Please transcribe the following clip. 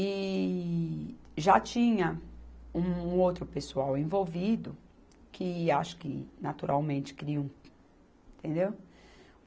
E já tinha um outro pessoal envolvido, que acho que naturalmente queriam, entendeu?